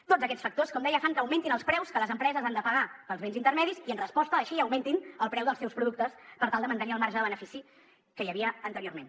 tots aquests factors com deia fan que augmentin els preus que les empreses han de pagar pels béns intermedis i en resposta així augmentin el preu dels seus productes per tal de mantenir el marge de benefici que hi havia anteriorment